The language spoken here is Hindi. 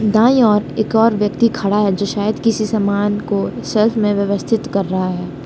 दाईं ओर एक और व्यक्ति खड़ा है जो शायद किसी सामान को सेल्फ में व्यवस्थित कर रहा है।